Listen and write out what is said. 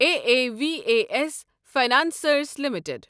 A A V A S financiers limited